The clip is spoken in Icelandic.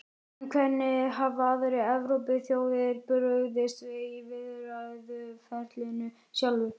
En hvernig hafa aðrar Evrópuþjóðir brugðist við í viðræðuferlinu sjálfu?